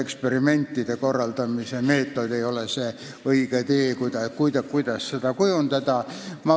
Eksperimentide korraldamise meetod ei ole õige tee, kuidas seda praktikat kujundada.